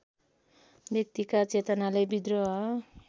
व्यक्तिका चेतनाले विद्रोह